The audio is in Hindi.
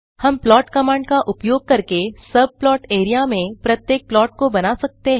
हम प्लॉट कमांड का उपयोग करके सबप्लॉट एरिया में प्रत्येक प्लॉट को बना सकते हैं